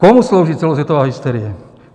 Komu slouží celosvětová hysterie?